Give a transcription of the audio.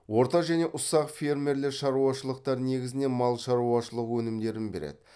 орта және ұсақ фермерлі шаруашылықтар негізінен мал шаруашылық өнімдерін береді